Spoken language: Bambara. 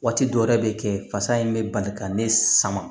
Waati dɔw yɛrɛ bɛ kɛ fasa in bɛ bali ka ne sama